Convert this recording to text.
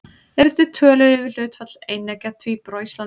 Eru til tölur yfir hlutfall eineggja tvíbura á Íslandi?